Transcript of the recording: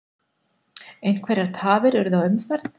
Einhverjar tafir urðu á umferð